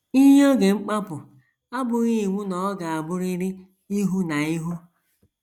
Iyi oge mkpapụ abụghị iwu na ọ ga - abụrịrị ihu na ihu.